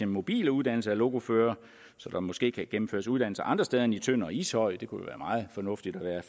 mobile uddannelser af lokoførere så der måske kan gennemføres uddannelser andre steder end i tønder og ishøj det kunne jo være meget fornuftigt at være